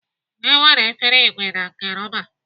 E nwere efere ìgwè na nke rọba.